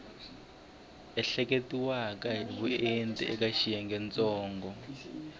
ehleketiweke hi vuenti eka xiyengentsongo